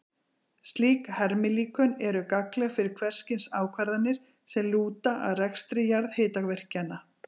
Slík hermilíkön eru gagnleg fyrir hvers kyns ákvarðanir sem lúta að rekstri jarðhitavirkjana.